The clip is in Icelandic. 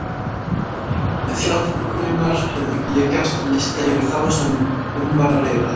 Með hjálp vinkonunnar hafði ég gert lista yfir þá sem um var að ræða.